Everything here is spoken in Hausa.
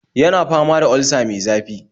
Yana fama da olsa mai zafi